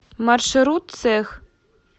маршрут цех